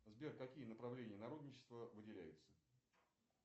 сбер какие направления народничества выделяются